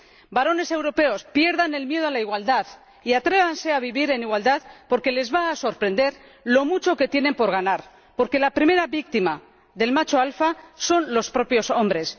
Varones europeos, pierdan el miedo a la igualdad y atrévanse a vivir en igualdad, porque les va a sorprender lo mucho que tienen por ganar, porque la primera víctima del macho alfa son los propios hombres.